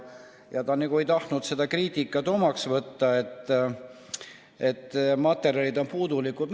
Ja ta nagu ei tahtnud seda kriitikat, et materjalid on puudulikud, omaks võtta.